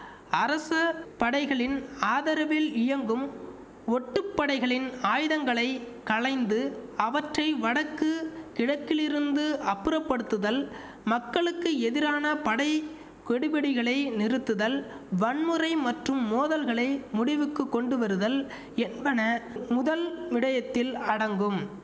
அரச படைகளின் ஆதரவில் இயங்கும் ஒட்டுப்படைகளின் ஆயுதங்களை களைந்து அவற்றை வடக்கு கிழக்கிலிருந்து அப்புறப்படுத்துதல் மக்களுக்கு எதிரான படை கெடுபிடிகளை நிறுத்துதல் வன்முறை மற்றும் மோதல்களை முடிவுக்கு கொண்டு வருதல் என்பன முதல் விடயத்தில் அடங்கும்